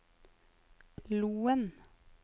Loen